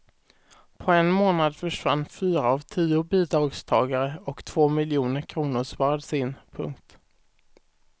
På en månad försvann fyra av tio bidragstagare och två miljoner kronor sparades in. punkt